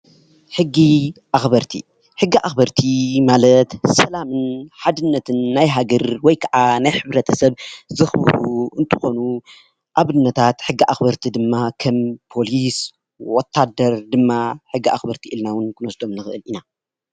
ሕጊ ኣኸበርቲ ሕጊ ኣኸበርቲ ማለት ሰላምን ሓድነትን ናይ ሃገር ወይ ከዓ ናይ ሕ/ሰብ ዘክብሩ እንትኾኑ ኣብነታት ሕጊ ኣኸበርቲ ድማ ከም ፖሊስ ፣ ወታደር ድማ ሕጊ ኣኸበርቲ ኢልና ክንወስዶም ንክእል ኢና።